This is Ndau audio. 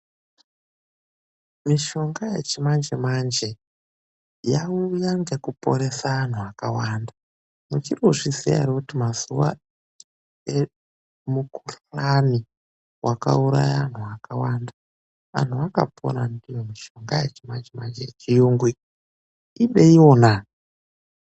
Mishonga yechimanje manje yauya ngekuporesa vantu vakavanda muchirikuzviziya here kutimazuva emukuhlani wakauraye vantu vakawanda. Vantu vakapona ndiyomishonga yechiyungu iyi, ideiwona!